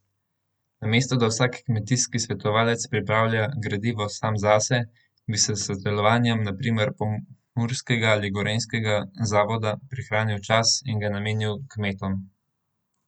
Namesto da vsak kmetijski svetovalec pripravlja gradivo sam zase, bi s sodelovanjem na primer pomurskega in gorenjskega zavoda prihranili čas in ga namenili kmetom.